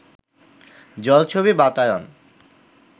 জলছবি বাতায়ন